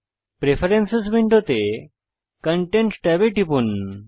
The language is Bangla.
প্রেফারেন্স উইন্ডোতে কনটেন্ট ট্যাবে টিপুন